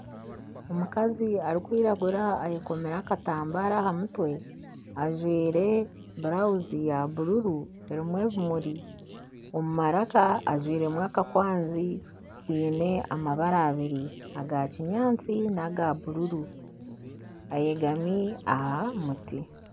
Omukazi arikwiragura ayekomire akatambaara aha mutwe, ajwaire burawuzi ya bururu erimu ebimuri. Omu maraka ajwiremu akakwanzi kiine amabara abari aga kinyaatsi n'aga bururu. Ayegami aha muti.